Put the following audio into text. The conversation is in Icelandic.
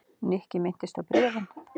Nikki minntist á bréfin.